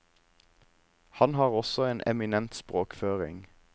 Han har også en eminent språkføring.